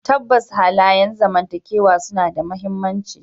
Tabbas, halayen zamantakewa suna da mahimmanci.